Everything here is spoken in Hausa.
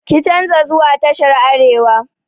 Ki canza zuwa tashar arewa!